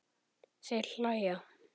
Þeir hlæja.